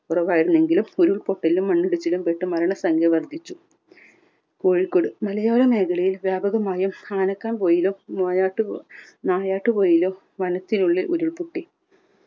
കൊറവായിരുന്നുവെങ്കിലും ഉരുൾപൊട്ടലിലും മണ്ണിടിച്ചിലിലും പെട്ട മരണസംഖ്യ വർധിച്ചു. കോഴിക്കോട് മലയോര മേഖലയിൽ വ്യാപകമായും ആനക്കാംപൊയിലും നായാട്ടുപ നായാട്ടുപോയിലും വനത്തിനുള്ളിൽ ഉരുൾപൊട്ടി.